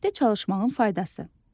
Birlikdə çalışmağın faydası.